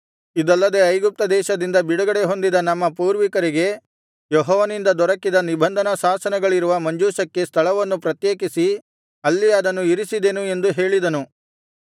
ಇದಲ್ಲದೆ ಐಗುಪ್ತದೇಶದಿಂದ ಬಿಡುಗಡೆ ಹೊಂದಿದ ನಮ್ಮ ಪೂರ್ವಿಕರಿಗೆ ಯೆಹೋವನಿಂದ ದೊರಕಿದ ನಿಬಂಧನಾಶಾಸನಗಳಿರುವ ಮಂಜೂಷಕ್ಕೆ ಸ್ಥಳವನ್ನು ಪ್ರತ್ಯೇಕಿಸಿ ಅಲ್ಲಿ ಅದನ್ನು ಇರಿಸಿದೆನು ಎಂದು ಹೇಳಿದನು